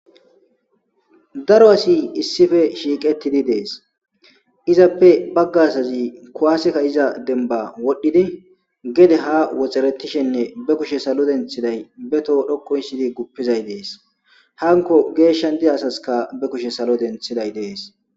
daro asi issife shiiqettidi dees izappe bagga asazi kuwaaseka iza denba wodhdhidi gede ha woxaretishenne be kushe salo denthiday be too dhokkoy sidi guppizay dees hanko geeshshan diza asaska be kushe salo denthiday dees